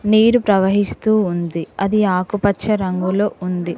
నీరు ప్రవహిస్తూ ఉంది అది ఆకుపచ్చ రంగులొ ఉంది.